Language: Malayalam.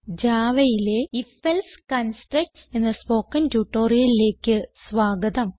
Javaയിലെ ഐഎഫ് എൽസെ കൺസ്ട്രക്ട്സ് എന്ന സ്പോകെൻ ട്യൂട്ടോറിയലിലേക്ക് സ്വാഗതം